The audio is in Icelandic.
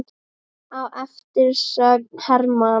Á eftir söng Hermann